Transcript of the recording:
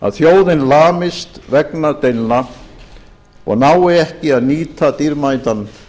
að þjóðin lamist vegna deilna og nái ekki að nýta dýrmætan